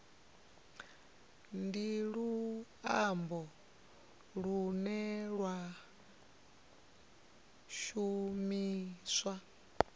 ndi luambo lune lwa shumiswa